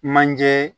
Manje